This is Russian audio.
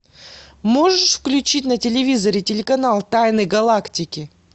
можешь включить на телевизоре телеканал тайны галактики